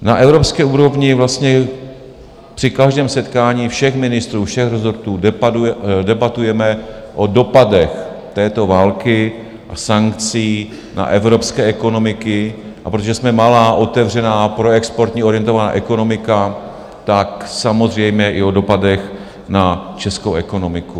Na evropské úrovni vlastně při každém setkání všech ministrů všech rezortů debatujeme o dopadech této války a sankcí na evropské ekonomiky, a protože jsme malá, otevřená, proexportně orientovaná ekonomika, tak samozřejmě i o dopadech na českou ekonomiku.